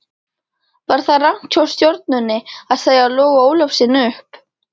Var það rangt hjá Stjörnunni að segja Loga Ólafssyni upp?